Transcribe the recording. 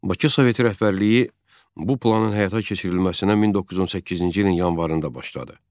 Bakı Soveti rəhbərliyi bu planın həyata keçirilməsinə 1918-ci ilin yanvarında başladı.